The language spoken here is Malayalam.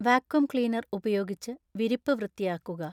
വാക്വംക്ലീനര്‍ ഉപയോഗിച്ച് വിരിപ്പ് വൃത്തിയാക്കുക.